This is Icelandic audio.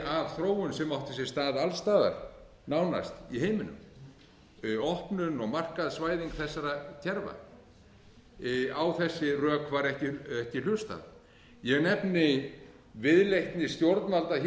af þróun sem átti sér stað alls staðar nánast í heiminum opnun og markaðsvæðing þessara kerfa á þessi rök var ekki hlustað ég nefni viðleitni stjórnvalda hér